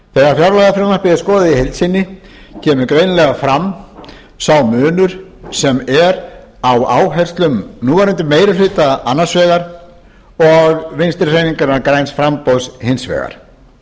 þegar fjárlagafrumvarpið er skoðað í heild sinni kemur greinilega fram sá munur sem er á áherslum núverandi meiri hluta annars vegar og vinstri hreyfingarinnar græns framboðs hins vegar